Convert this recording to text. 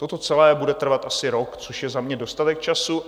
Toto celé bude trvat asi rok, což je za mě dostatek času.